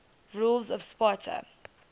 rulers of sparta